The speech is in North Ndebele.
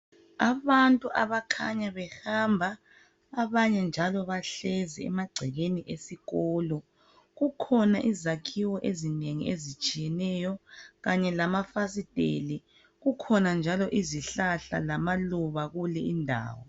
Abantu abakhanya behamba, abanye njalo bahlezi emagcekeni esikolo. Kukhona izakhiwo ezinengi ezitshiyeneyo, kanye lamafasiteli, kukhona njalo izihlahla lamaluba kule indawo.